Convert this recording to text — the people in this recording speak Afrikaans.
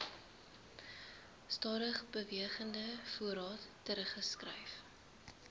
stadigbewegende voorraad teruggeskryf